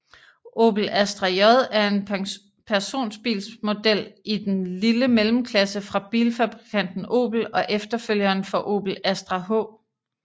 Opel Astra J er en personbilsmodel i den lille mellemklasse fra bilfabrikanten Opel og efterfølgeren for Opel Astra H